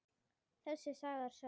Þessi saga er sönn.